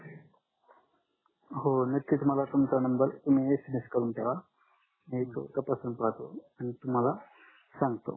हो नक्कीच मला तुमचा नंबर तुम्ही SMS करून ठेवा मी तपासून पाहतो आणि तुम्हाला सांगतो